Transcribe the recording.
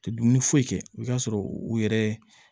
Dumuni foyi kɛ i bi t'a sɔrɔ u yɛrɛ